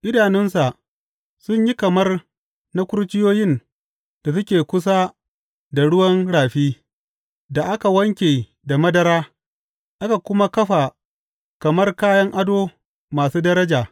Idanunsa sun yi kamar na kurciyoyin da suke kusa da ruwan rafi, da aka wanke da madara aka kuma kafa kamar kayan ado masu daraja.